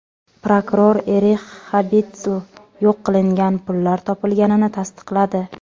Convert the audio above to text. Prokuror Erix Xabitsl yo‘q qilingan pullar topilganini tasdiqladi.